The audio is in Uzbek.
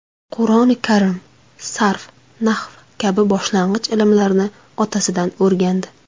Qur’oni Karim, sarf, nahv kabi boshlang‘ich ilmlarni otasidan o‘rgandi.